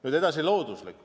Nüüd edasi, looduslikkus.